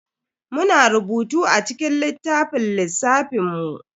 Muna rubutu a cikin littafin lissafin mu.